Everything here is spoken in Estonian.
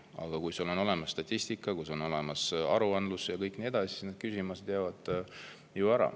Aga kui on olemas statistika, kui on olemas aruandlus ja nii edasi, siis need küsimused jäävad ära.